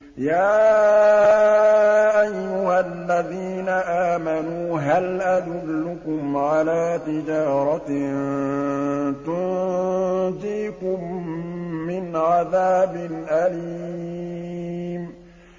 يَا أَيُّهَا الَّذِينَ آمَنُوا هَلْ أَدُلُّكُمْ عَلَىٰ تِجَارَةٍ تُنجِيكُم مِّنْ عَذَابٍ أَلِيمٍ